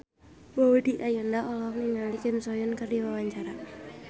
Maudy Ayunda olohok ningali Kim So Hyun keur diwawancara